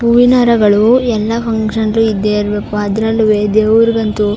ಹೂವಿನಹಾರಗಳು ಎಲ್ಲಾ ಫನ್ಕ್ಷನ್ ಲು ಇದ್ದೆ ಇರ್ಬೇಕು ಅದ್ರಲ್ಲುವೆ ದೇವ್ರಗಂತು --